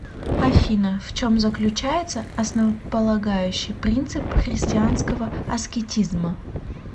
афина в чем заключается основополагающий принцип христианского аскетизма